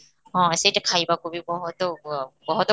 ହଁ, ସେଇଟା ଖାଇବାକୁ ବି ବହୁତ ଅଃ ବହୁତ